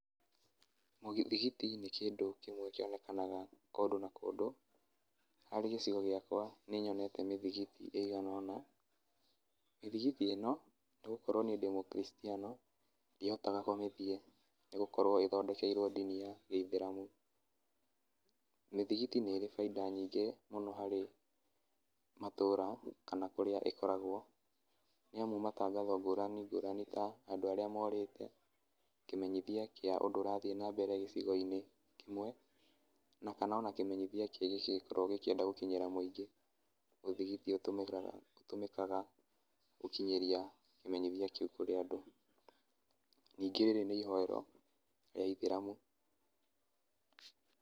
Mũthigiti nĩ kĩndũ kĩmwe kĩonekanaga kũndũ na kũndũ, harĩ gĩcigo gĩakwa nĩ nyonete mĩthigiti ĩigana ũna. Mĩthigiti ĩno nĩ gũkorwo niĩ ndĩ mũkiristiano, ndihotaga kũmĩthiĩ nĩ gũkorwo ĩthondekeirwo ndini ya gĩithĩramu. Mĩthigiti nĩ ĩrĩ bainda nyingĩ mũno harĩ matũra kana kũrĩa ĩkoragwo, nĩ amu matangatho ngũrani ngũrani ta andũ arĩa morĩte, kĩmenyithia kĩa ũndũ ũrathiĩ na mbere gĩcigo-inĩ kĩmwe, na kana ona kĩmenyithia kĩngĩ kĩngĩkorwo gĩkĩenda gũkinyĩra mũingĩ, mũthigiti ũtũmĩkaga gũkinyĩria kĩmenyithia kĩu kũrĩ andũ, ningĩ rĩrĩ nĩ ihoero rĩa ithĩramu.